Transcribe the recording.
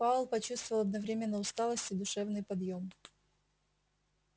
пауэлл почувствовал одновременно усталость и душевный подъём